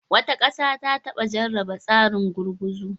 Wata ƙasa ta taba jarraba tsarin gurguzu.